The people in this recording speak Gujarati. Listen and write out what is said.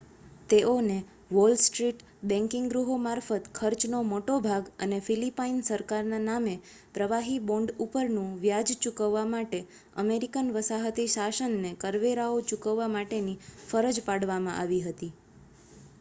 તેઓને વોલ સ્ટ્રીટ બેન્કિંગ ગૃહો મારફત ખર્ચનો મોટો ભાગ અને ફીલીપાઈન સરકારના નામે પ્રવાહી બોન્ડ ઉપરનુ વ્યાજ ચુકવવા માટે અમેરિકન વસાહતી શાસનને કરવેરાઓ ચૂકવવા માટેની ફરજ પાડવામાં આવી હતી